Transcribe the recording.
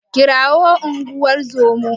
Kirawo unguwar zoman.